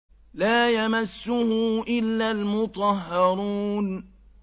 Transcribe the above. لَّا يَمَسُّهُ إِلَّا الْمُطَهَّرُونَ